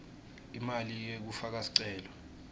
imali yekufaka sicelo